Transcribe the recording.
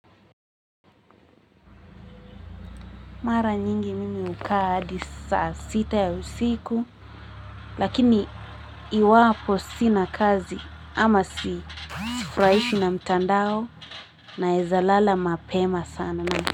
Mara nyingi mimi ukaa adi saa sita ya usiku, lakini iwapo sina kazi ama si sifraishwi na mtandao naeza lala mapema sana.